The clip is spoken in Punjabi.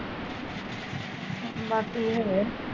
ਬਾਕੀ ਹੋਏ